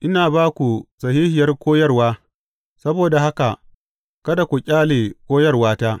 Ina ba ku sahihiyar koyarwa, saboda haka kada ku ƙyale koyarwata.